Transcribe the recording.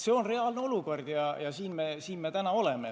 See on reaalne olukord, kus me praegu oleme.